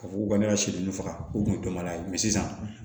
Ka fɔ ko ne ka sɛ ninnu faga o kun ye dɔ mana ye sisan